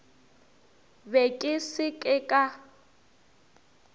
be ke se ka ka